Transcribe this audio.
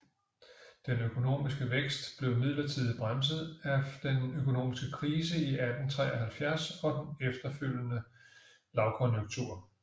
Den økonomiske vækst blev midlertidigt bremset af den økonomiske krise i 1873 og den følgende lavkonjunktur